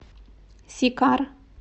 сикар